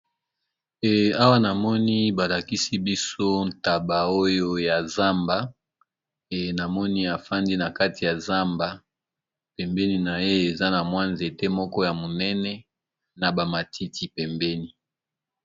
Awa namoni ba lakisi biso ntaba oyo ya zamba e namoni afandi na kati ya zamba pembeni na ye eza na mwa nzete moko ya monene na ba matiti pembeni.